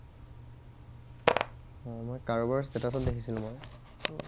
অ মই কাৰোবাৰ ষ্টেতাচ দেখিছিলো মই